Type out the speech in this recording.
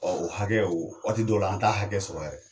o hakɛ o waati dɔw la an taa hakɛ sɔrɔ yɛrɛ.